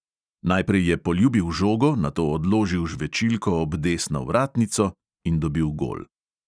Najprej je poljubil žogo, nato odložil žvečilko ob desno vratnico in dobil gol.